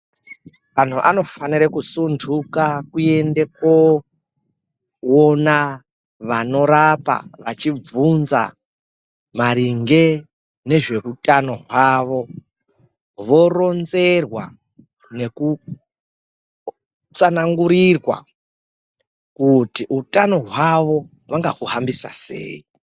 Antu anofanire kusuntuka kuende koona vanorapa, vachibvunza maringe nezveutano hwavo, voronzerwa nekutsanangurirwa kuti utano hwavo, vangau hambisa sei.